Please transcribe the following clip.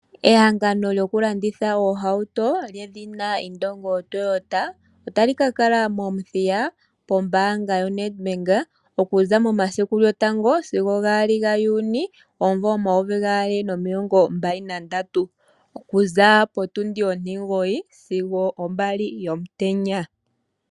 Ehangano lyokulanditha oohauto lyedhina Indongo Toyota otali ka kala mOmuthiya pombaanga yoNedbank okuza momasiku lyotango sigo gaali gaJuuni omuvo omayovi gaali nomilongo mbali nandatu okuza potundi ontimugoyi sigo opo mbali yomutenya.